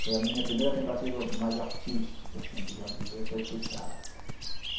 Foi a minha primeira tentativa mais artística assim, digamos dizer , foi frustrada.